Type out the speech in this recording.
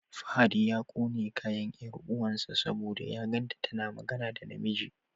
Fahad ya ƙone kayan 'yar uwan sa saboda ya gan tana magana da na miji.